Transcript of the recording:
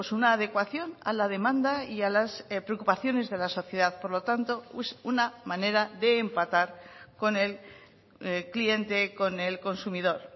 una adecuación a la demanda y a las preocupaciones de la sociedad por lo tanto es una manera de empatar con el cliente con el consumidor